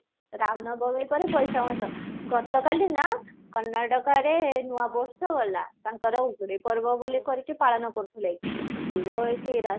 ରାମ ନବମୀ ପରେ ବୈଶାଖ ମାସ, ଗତ କାଲି ନା କର୍ଣ୍ଣାଟକାରେ ନୂଆ ବର୍ଷ ଗଲା, ତାଙ୍କର ଉଡେ ପର୍ବ ବୋଲି କି ପାଳନ କୄଟ୍ରହିଲେ କି ଭିଡ ଏଠି